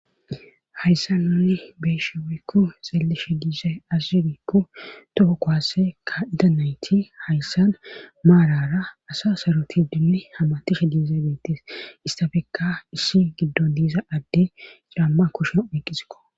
hayssa nuni beeshe woykku xalleshe diise azuzudikku toko kowase ka ida nayti hayssan maarara asa saruti dinni hamatishe diize beettis istafekka issi giddo diisa adde camma kushen oyqqisikko